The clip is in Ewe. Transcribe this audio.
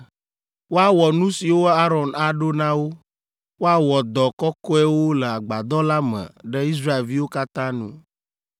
Woawɔ nu siwo Aron aɖo na wo. Woawɔ dɔ kɔkɔewo le Agbadɔ la me ɖe Israelviwo katã nu,